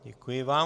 Děkuji vám.